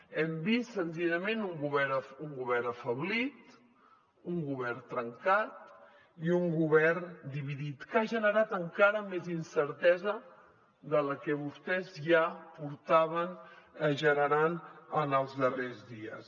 hem vist senzillament un govern afeblit un govern trencat i un govern dividit que ha generat encara més incertesa de la que vostès ja portaven generant en els darrers dies